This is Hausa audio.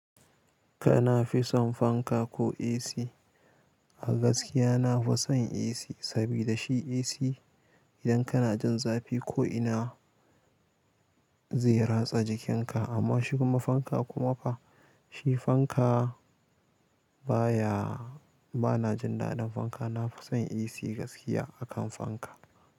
Kana fison fanka ko AC? A gaskiya na fi son AC sabida shi AC idan kana jin zafi ko ina zai ratsa jikinka amma shiga fanka kuma fa shi fanka baya bana jin daɗin fanka. Na fi son AC gaskiya akan fanka.